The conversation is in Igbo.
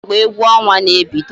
Kedu mgbe egwu ọnwa na-ebido?